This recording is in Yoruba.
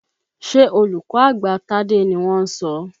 Ṣé olùkọ́ àgbà Tádé ni wọ́n ń sọ?